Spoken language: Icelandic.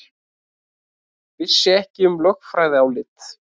Vissi ekki um lögfræðiálit